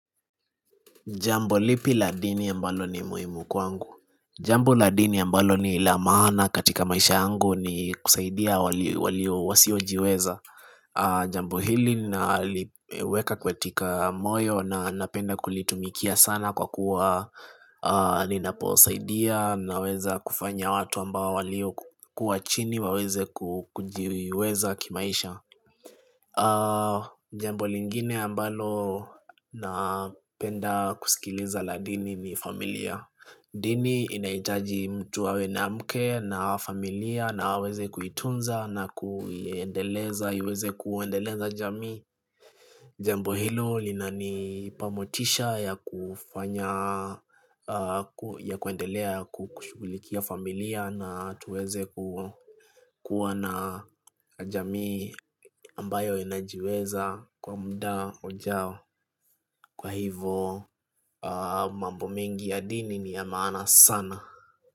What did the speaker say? Jambo lipi la dini ambalo ni muhimu kwangu? Jambo la dini ya ambalo ni la maana katika maisha yangu ni kusaidia wasiojiweza Jambo hili naliweka katika moyo na napenda kulitumikia sana kwa kuwa Ninaposaidia naweza kufanya watu ambao waliokuwa chini waweze kujiweza kimaisha Jambo lingine ambalo napenda kusikiliza la dini ni familia Dini inahitaji mtu awe na mke na familia na aweze kuitunza na kuiendeleza iweze kuendeleza jamii Jambo hilo linanipa motisha ya kufanya ya kuendelea kushughulikia familia na tuweze kuwa na jamii ambayo inajiweza kwa muda ujao. Kwa hivo mambo mengi ya dini ni ya maana sana.